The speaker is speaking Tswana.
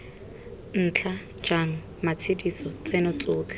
ntla jang matshediso tseno tsotlhe